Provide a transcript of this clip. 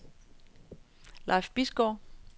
Leif Bisgaard